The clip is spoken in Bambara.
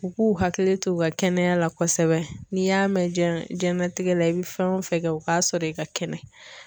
U k'u hakili to u ka kɛnɛya la kosɛbɛ n'i y'a mɛn diɲɛ diɲɛlatigɛ la i bɛ fɛn o fɛn kɛ u k'a sɔrɔ i ka kɛnɛ.